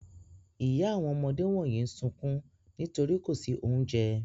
Ìyá àwọn ọmọdé wọ̀nyí sunkún nítorí kò sí oúnjẹ.